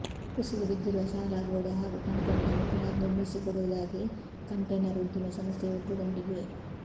ಕುಸಿದು ಬಿದ್ದಿರುವ ಶಾಲಾ ಗೋಡೆ ಹಾಗೂ ಕಂಪೌಂಡನ್ನು ಪುನರ್ ನಿರ್ಮಿಸಿಕೊಡುವುದಾಗಿ ಕಂಟೈನರ್ ಉದ್ದಿಮೆ ಸಂಸ್ಥೆಯು ಒಪ್ಪಿಕೊಂಡಿದೆ